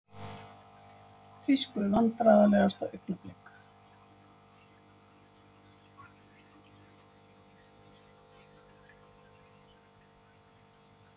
Þýsku Vandræðalegasta augnablik?